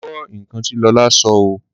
Mo gbọ́ nǹkan tí Lọlá sọ oo.